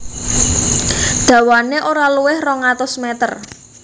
Dawané ora luwih rong atus meter